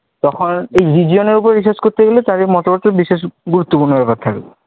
তখন এই region এর উপর research করতে গেলে তার এই মতবাদটি বিশেষ গুরুত্বপূর্ণ ব্যপার থাকবে